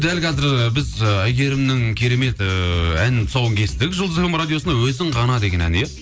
дәл қазір і біз і әйгерімнің керемет ыыы әнінің тұсауын кестік жұлдыз фм радиосында өзің ғана деген ән иә